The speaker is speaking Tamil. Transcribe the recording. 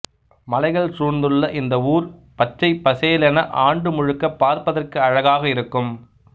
மலைகள் சூழ்ந்துள்ள இந்த ஊர் பச்சைப் பசேலென ஆண்டு முழுக்க பார்ப்பதற்கு அழகாக இருக்கும்